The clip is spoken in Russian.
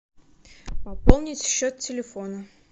пополнить счет телефона